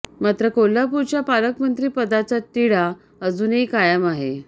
मात्र कोल्हापुरच्या पालकमंत्री पदाचा तिढा अजूनही कायम आहे